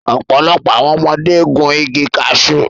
Ọ̀pọ̀lọpọ̀ àwọn ọmọdé gun igi kashu